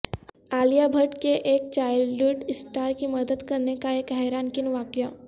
عالیہ بھٹ کے ایک child star کی مدد کرنےکا ایک حیران کن واقعہ